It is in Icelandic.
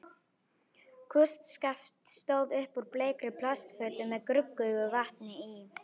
Kústskaft stóð upp úr bleikri plastfötu með gruggugu vatni í.